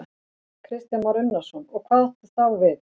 Kristján Már Unnarsson: Og hvað áttu þá við?